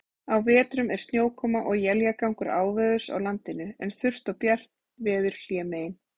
Á vetrum er snjókoma og éljagangur áveðurs á landinu, en þurrt og bjart veður hlémegin.